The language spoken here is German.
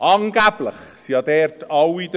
Angeblich sind ja dort alle dafür.